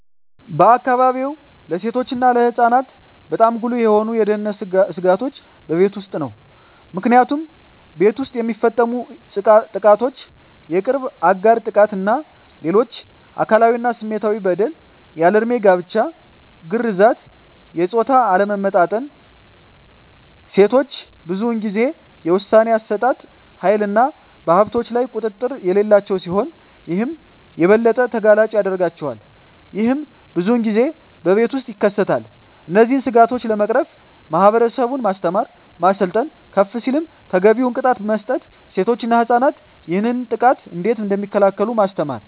በአካባቢዎ ለሴቶች እና ለህፃናት በጣም ጉልህ የሆኑ የደህንነት ስጋቶች በቤት ውስጥ ነው። ምክንያቱም ቤት ውስጥ የሚፈፀሙ ጥቃቶች የቅርብ አጋር ጥቃት እና ሌሎች አካላዊ እና ስሜታዊ በደል፣ ያልድሜ ጋብቻ፣ ግርዛት፣ የፆታ አለመመጣጠን፣ ሴቶች ብዙን ጊዜ የውሣኔ አሠጣጥ ሀይልና በሀብቶች ላይ ቁጥጥር የሌላቸው ሲሆን ይህም የበለጠ ተጋላጭ ያደርጋቸዋል። ይህም ብዙን ጊዜ በቤት ውስጥ ይከሰታል። እነዚህን ስጋቶች ለመቅረፍ ማህበረሰቡን ማስተማር፣ ማሰልጠን፣ ከፍ ሲልም ተገቢውን ቅጣት መስጠት፣ ሴቶች እና ህፃናት ይህንን ጥቃት እንዴት እደሚከላከሉ ማስተማር።